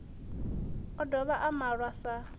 o dovha a malwa sa